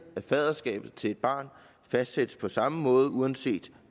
faderskabet til et barn fastsættes på samme måde uanset